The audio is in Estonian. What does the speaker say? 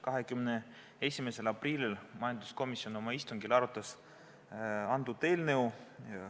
21. aprillil majanduskomisjon oma istungil arutas antud eelnõu.